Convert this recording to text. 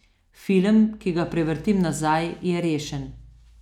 Film, ki ga prevrtim nazaj, je rešen.